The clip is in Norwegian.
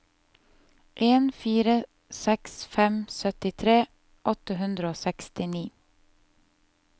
en fire seks fem syttitre åtte hundre og sekstini